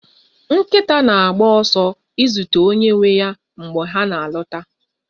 Nkịta na-agba ọsọ izute onye nwe ya mgbe ha na-alọta